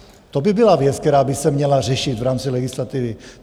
To by byla věc, která by se měla řešit v rámci legislativy.